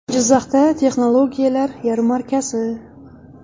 Jizzaxda texnologiyalar yarmarkasi.